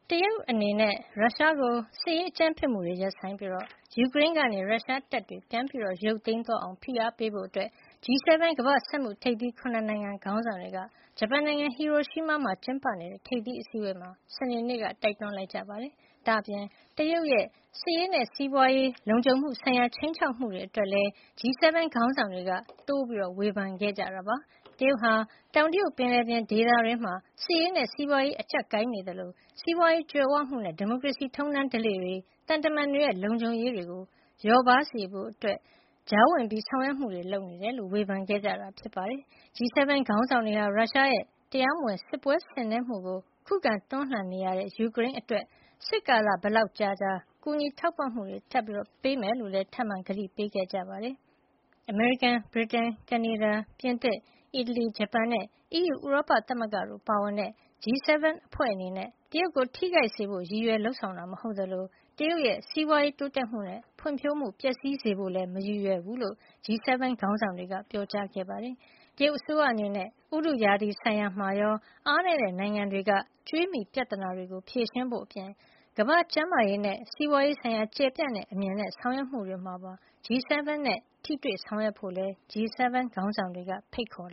တရုတ်အနေနဲ့ ရုရှားကို စစ်ရေး အကြမ်းဖက်မှုတွေရပ်ဆိုင်းပြီး ယူကရိန်းကနေ ရုရှားတပ်တွေ ပြန်ရုပ်သိမ်းအောင် ဖိအားပေးဖို့ G 7 ကမ္ဘာ့စက်မှုထိပ်သီး ၇ နိုင်ငံခေါင်းဆောင်တွေက ဂျပန်နိုင်ငံ ဟီရိုရှီးမားမှာ ကျင်းပနေတဲ့ ထိပ်သီးအစည်းဝေးမှာ စနေနေ့က တိုက်တွန်းလိုက်ကြပါတယ်။ ဒါ့အပြင် တရုတ်ရဲ့ စစ်ရေးနဲ့ စီးပွါးရေး လုံခြုံမှုဆိုင်ရာ ခြိမ်းခြောက်မှုအတွက်လည်း G 7 ခေါင်းဆောင်တွေက တိုးပြီး ဝေဖန်ခဲ့ကြတာပါ။ တရုတ်ဟာ တောင်တရုတ်ပင်လယ်ပြင် ဒေသတွင်းမှာ စစ်ရေးနဲ့ စီးပွါးရေး အကြပ်ကိုင်နေသလို စီးပွါးရေးကြွယ်ဝမှုနဲ့ ဒီမိုကရေစီ ထုံးတမ်းဓလေ့တွေ၊ သံတမန်တွေရဲ့ လုံခြုံရေးတွေ လျော့ပါးစေဖို့ ရည်ရွယ်တဲ့ ကြားဝင်ဆောင်ရွက်မှုတွေ လုပ်နေတယ်လို့ ဝေဖန်ခဲ့တာ ဖြစ်ပါတယ်။ G 7 ခေါင်းဆောင်တွေဟာ ရုရှားရဲ့ တရားမဝင် စစ်ပွဲဆင်နွှဲမှုကို ခုခံတွန်းလှန်နေရတဲ့ ယူကရိန်းအတွက် စစ်ကာလဘယ်လောက် ကြာကြာ ထောက်ပံ့ကူညီဖို့လည်း ထပ်မံ ကတိပေးခဲ့ပါတယ်။ အမေရိကန်၊ ဗြိတိန်၊ ကနေဒါ၊ ပြင်သစ်၊ အီတလီ၊ ဂျပန်နဲ့ အီးယူ ဥရောပသမဂ္ဂတို့ ပါဝင်တဲ့ G 7 အဖွဲ့အနေနဲ့ တရုတ်ကို ထိခိုက်စေဖို့ ရည်ရွယ်လုပ်ဆောင်တာ မဟုတ်သလို တရုတ်ရဲ့ စီးပွါးရေးတိုးတက်မှုနဲ့ ဖွံ့ဖြိုးမှု ပျက်စီးစေဖို့လည်း မရည်ရွယ်ကြောင်း G7 ခေါင်းဆောင်တွေက ပြောပါတယ်။ တရုတ်အစိုးရအနေနဲ့ ဥတုရာသီဆိုင်ရာမှာရော၊ အားနည်းတဲ့နိုင်ငံတွေက ကြွေးမြီပြဿနာ ဖြေရှင်းဖို့အပြင် ကမ္ဘာ့ကျန်းမာရေးနဲ့ စီးပွါးရေးဆိုင်ရာ ကျယ်ပြန့်တဲ့အမြင်နဲ့ ဆောင်ရွက်မှု တွေမှာပါ G 7 နဲ့ ထိတွေ့ဆောင်ရွက်ဖို့လည်း G 7 ခေါင်းဆောင်တွေက ဖိတ်ခေါ်